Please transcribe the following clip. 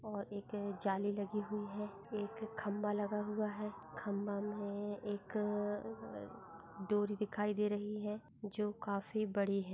और एक जाली लगी हुई है एक खंभा लगा हुआ है खंभा में एक अ डोरी दिखाई दे रही है जो काफी बड़ी